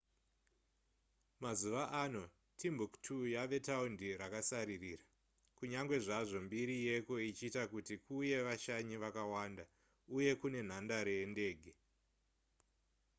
mazuva ano timbuktu yava taundi rakasaririra kunyange zvazvo mbiri yeko ichiita kuti kuuye vashanyi vakawanda uye kune nhandare yendege